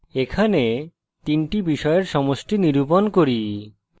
এখানে তিনটি বিষয়ের সমষ্টি নিরূপণ করি